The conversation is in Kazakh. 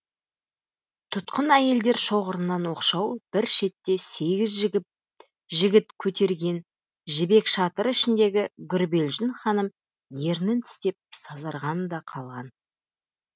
тұтқын әйелдер шоғырынан оқшау бір шетте сегіз жігіт көтерген жібек шатыр ішіндегі гүрбелжін ханым ернін тістеп сазарған да қалған